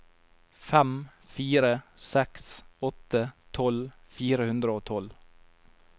fem fire seks åtte tolv fire hundre og tolv